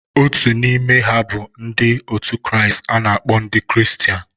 Otu n'ime ha bụ ndị otu Kristi a na-akpọ ndị Kristian.